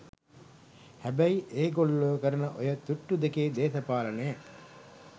හැබැයි ඒ ගොල්ලෝ කරන ඔය තුට්ටු දෙකේ දේශපාලනය